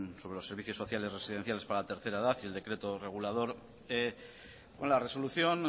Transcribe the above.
con los servicios sociales residenciales para la tercera edad y el decreto regulador la resolución